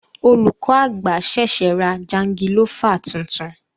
Olùkọ àgbà ṣẹṣẹ ra jangilofa tuntun.